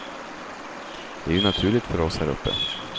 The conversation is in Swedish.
Det är ju naturligt för oss här uppe.